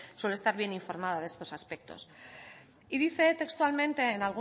suele estar bien informada de estos aspectos y dice textualmente